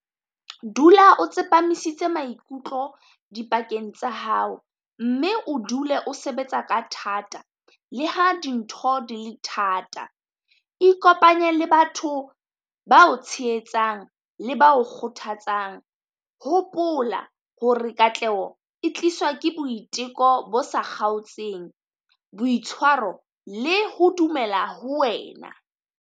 Dula o tsepamisitse maikutlo di pakeng tsa hao mme, o dule o sebetsa ka thata le ha dintho di le thata. Ikopanye le batho ba o tshehetsang le ba o kgothatsang. Hopola hore katleho e tliswa ke boiteko bo sa kgaotseng boitshwaro le ho dumela ho wena.